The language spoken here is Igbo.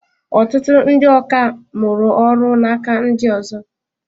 Ọtụtụ ndị ọkà mụrụ ọrụ n'aka ndị ọzọ.